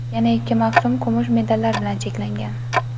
Yana ikki mavsum kumush medallar bilan cheklangan.